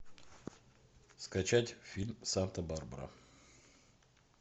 скачать фильм санта барбара